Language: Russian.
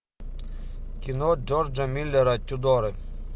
кино джорджа миллера тюдоры